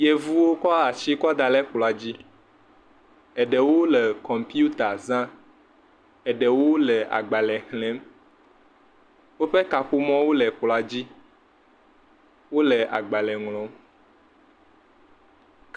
Yevuwo kɔ ashi kɔ da le kplɔ̃a dzi. Eɖewo le kɔmpiuta zã, Eɖewo le agba xlẽm. Woƒe kaƒomɔwo le kplɔ̃a dzi. wole agbalẽ ŋlɔm.